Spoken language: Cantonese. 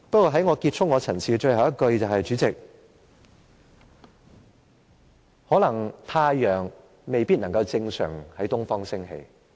我在結束陳辭時要說的最後一句是，主席，太陽可能未必能夠正常地從東方升起。